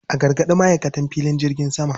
A gargaɗi ma'aikatan filin jirgin sama.